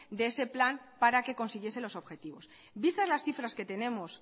de ese plan para que consiguiese los objetivos vistas las cifras que tenemos